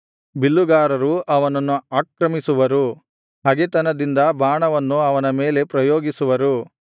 ಬಿಲ್ಲುಗಾರರು ಅವನನ್ನು ಆಕ್ರಮಿಸುವರು ಹಗೆತನದಿಂದ ಬಾಣವನ್ನು ಅವನ ಮೇಲೆ ಪ್ರಯೋಗಿಸುವರು